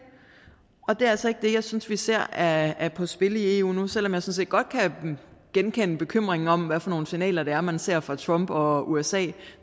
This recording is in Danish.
og det er altså ikke det jeg synes vi ser er på spil i eu nu selv om jeg sådan set godt kan genkende bekymringen om hvad for nogle signaler det er man ser fra trump og usa